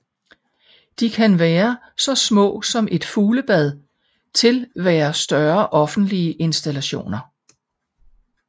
De kan være så små som et fuglebad til være større offentlige installationer